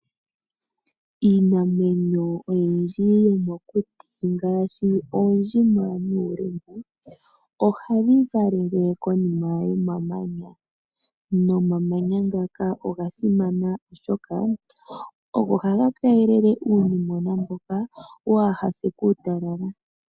Iinamwenyo oyindji yomokuti ngaashi oondjima nuulimba, ohayi valele konima yomamanya, nomamanya ngaka oga simana oshoka ogo haga keelele uunimwena waa ha se kuutalala.